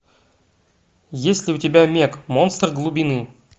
есть ли у тебя мег монстр глубины